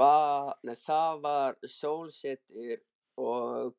Það var sólsetur og